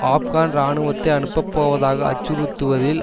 ஆப்கான் இராணுவத்தை அனுப்பப்போவதாக அச்சுறுத்துவதில்